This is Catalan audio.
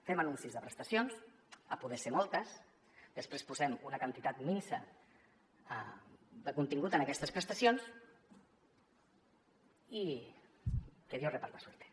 fem anuncis de prestacions si pot ser moltes després posem una quantitat minsa de contingut a aquestes prestacions i que dios reparta suerte